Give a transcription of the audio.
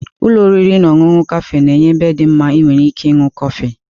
Ụlọ oriri na ọṅụṅụ kafé na-enye ebe dị mma ị nwere ike ịṅụ kọfị.